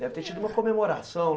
Deve ter tido uma comemoração.